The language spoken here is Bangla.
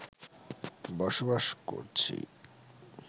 বসবাস করছি